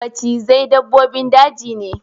Macizai dabbobin daji ne.